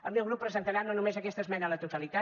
el meu grup presentarà no només aquesta esmena a la totalitat